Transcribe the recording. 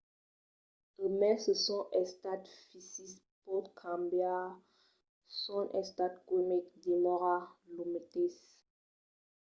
e mai se son estat fisic pòt cambiar son estat quimic demòra lo meteis